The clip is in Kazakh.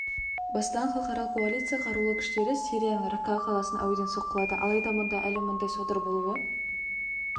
бастаған халықаралық коалицияның қарулы күштері сирияның ракка қаласын әуеден соққылады алайда мұнда әлі мыңдай содыр болуы